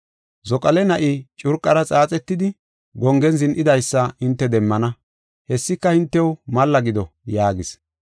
Zoqale na7i curqara xaaxetidi gongen zin7idaysa hinte demmana; hessika hintew malla gido” yaagis.